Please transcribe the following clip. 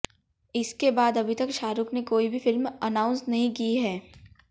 इसके बाद अभी तक शाहरुख ने कोई भी फिल्म अनाउंस नहीं की है